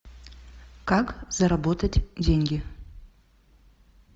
как заработать деньги